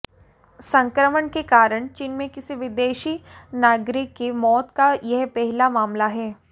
संक्रमण के कारण चीन में किसी विदेशी नागरिक की मौत का यह पहला मामला है